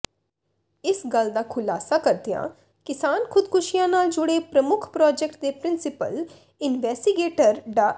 ਇਸ ਗੱਲ ਦਾ ਖੁਲਾਸਾ ਕਰਦਿਆਂ ਕਿਸਾਨ ਖੁਦਕੁਸ਼ੀਆਂ ਨਾਲ ਜੁੜੇ ਪ੍ਰਮੁੱਖ ਪ੍ਰੋਜੈਕਟ ਦੇ ਪ੍ਰਿੰਸੀਪਲ ਇਨਵੈਸੀਗੇਟਰ ਡਾ